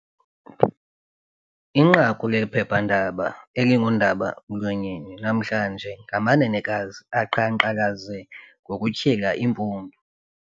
Inqaku lephephandaba eliingundaba-mlonyeni namhlanje ngamanenekazi aqhankqalaze ngokutyhila iimpundu,